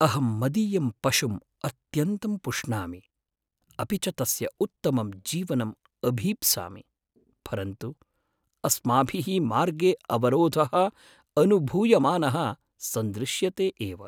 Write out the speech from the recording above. अहं मदीयं पशुं अत्यन्तं पुष्णामि। अपि च तस्य उत्तमं जीवनं अभीप्सामि, परन्तु अस्माभिः मार्गे अवरोधः अनुभूयमानः सन्दृश्यते एव।